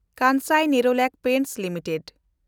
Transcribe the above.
Kansai Nerolac Paints limited